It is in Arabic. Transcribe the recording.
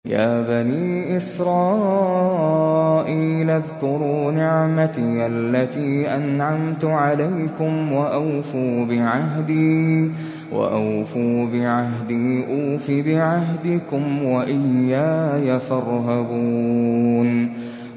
يَا بَنِي إِسْرَائِيلَ اذْكُرُوا نِعْمَتِيَ الَّتِي أَنْعَمْتُ عَلَيْكُمْ وَأَوْفُوا بِعَهْدِي أُوفِ بِعَهْدِكُمْ وَإِيَّايَ فَارْهَبُونِ